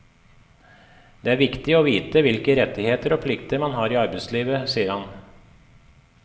Det er viktig å vite hvilke rettigheter og plikter man har i arbeidslivet, sier hun.